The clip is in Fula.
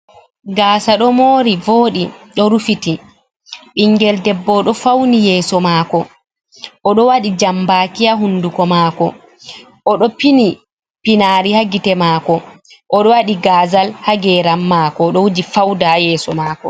Gasa ɗo mori voɗi ɗo rufiti. Bingel ɗebbo oɗo fauni yeso mako. Oɗo waɗi jambaki ha hunɗuko mako. Oɗo pini pinari ha gite mako. Oɗo waɗi gazal ha geram mako. Oɗo wuji fauɗa ha yeso mako.